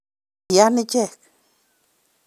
Iyani ichek.